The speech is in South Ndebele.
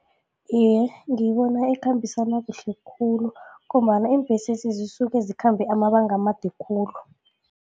Iye, ngiyibona ikhambisana kuhle khulu ngombana iimbhesezi zisuke zikhambe amabanga amade khulu.